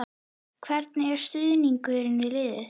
Hvernig er stuðningurinn við liðið?